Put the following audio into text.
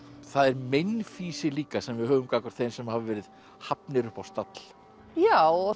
það er meinfýsi líka sem við höfum gagnvart þeim sem hafa verið hafnir upp á stall já